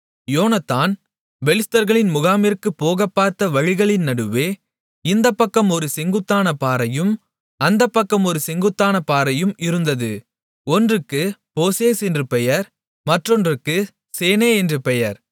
யோனத்தான் பெலிஸ்தர்களின் முகாமிற்கு போகப்பார்த்த வழிகளின் நடுவே இந்தப் பக்கம் ஒரு செங்குத்தான பாறையும் அந்தப் பக்கம் ஒரு செங்குத்தான பாறையும் இருந்தது ஒன்றுக்குப் போசேஸ் என்று பெயர் மற்றொன்றுக்குச் சேனே என்று பெயர்